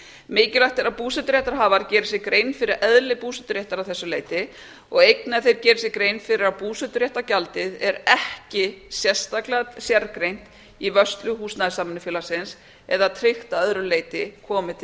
mikilvægt er að búseturéttarhafi geri sér grein fyrir eðli búseturéttar að þessu leyti og einnig að þeir geri sér grein fyrir að búseturéttargjaldið er ekki sérstaklega sérgreint í vörslu húsnæðissamvinnufélagsins eða tryggt að öðru leyti komi til